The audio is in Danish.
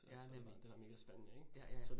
Ja, nemlig. Ja ja ja